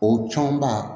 O tɔnba